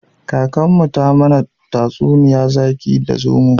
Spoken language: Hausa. Kakanmu ta mana tatsuniyar zaki da zomo